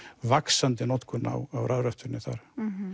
vaxandi notkun á rafrettunni þar